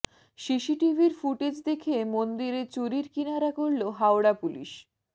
সিসিটিভির footage দেখে মন্দিরে চুরির কিনারা করল হাওড়া পুলিশ